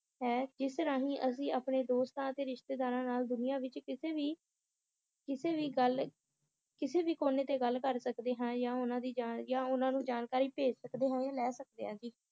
ਹੈ ਜਿਸ ਰਾਹੀਂ ਅਸੀ ਆਪਣੇ ਦੋਸਤਾਂ ਤੇ ਰਿਸ਼ਤੇਦਾਰਾਂ ਨਾਲ ਦੁਨੀਆ ਵਿਚ ਕਿਸੇ ਵੀ, ਕਿਸੇ ਵੀ ਗੱਲ ਕਿਸੇ ਵੀ ਕੋਨੇ ਤੇ ਗੱਲ ਕਰ ਸਕਦੇ ਹਾਂ ਯਾ ਉਹਨਾਂ ਦੀ ਜਾਨ ਯਾ ਉਹਨਾਂ ਨੂੰ ਜਾਣਕਾਰੀ ਭੇਜ ਸਕਦੇ ਹਾਂ ਜਾਂ ਲੈ ਸਕਦੇ ਹਾਂ ਜੀ